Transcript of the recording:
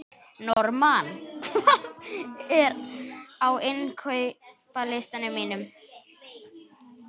Normann, hvað er á innkaupalistanum mínum?